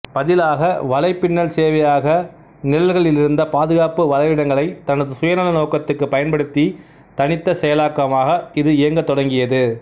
பதிலாக வலைப்பின்னல் சேவையக நிரல்களிலிருந்த பாதுகாப்பு பலவீனங்களைத் தனது சுயநல நோக்கத்துக்கு பயன்படுத்தி தனித்த செயலாக்கமாக இது இயங்கத் தொடங்கியது